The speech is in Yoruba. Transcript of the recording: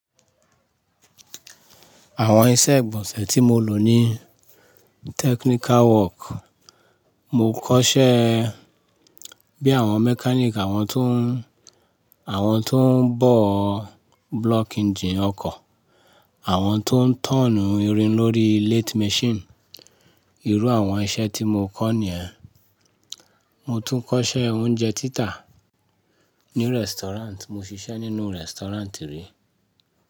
Àwọn iṣẹ́ ìgbọ̀nsẹ̀ tí mo lò ní technical work, mo kọ́ṣẹ́ e bí àwọn mechanic, àwọn tó ń, àwọn tó ń bọ̀ block engine ọkọ̀, àwọn tó ń turnu irin lórí lathe machine. Irú àwọn iṣẹ́ tí mo kọ́ nìyẹn. Mo tún kọ́ṣẹ́ oúnjẹ títà ní restaurant, mo ṣiṣẹ́ nínú restaurant ríi.